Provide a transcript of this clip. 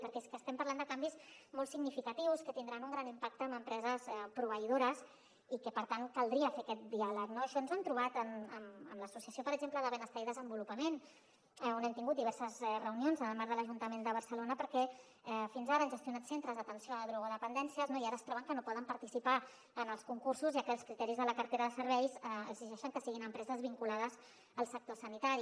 perquè és que estem parlant de canvis molt significatius que tindran un gran impacte en empreses proveïdores i que per tant caldria fer aquest diàleg no això ens ho hem trobat amb l’associació per exemple de benestar i desenvolupament on hem tingut diverses reunions en el marc de l’ajuntament de barcelona perquè fins ara han gestionat centres d’atenció a drogodependències no i ara es troben que no poden participar en els concursos ja que els criteris de la cartera de serveis exigeixen que siguin empreses vinculades al sector sanitari